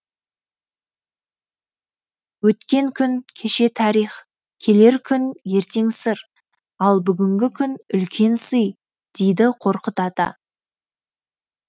өткен күн кеше тарих келер күн ертең сыр ал бүгінгі күн үлкен сый дейді қорқыт ата